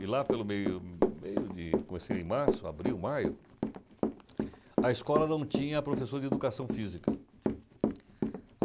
E lá, pelo meio meio de... Comecei em março, abril, maio, a escola não tinha professor de educação física.